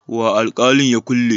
wa alkalin ya kulle?